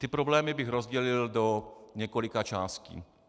Ty problémy bych rozdělil do několika částí.